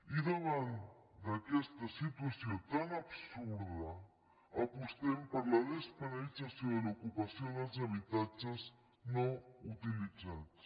i davant d’aquesta situació tan absurda apostem per la despenalització de l’ocupació dels habitatges no utilitzats